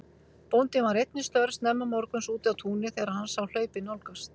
Bóndinn var einn við störf snemma morguns úti á túni þegar hann sá hlaupið nálgast.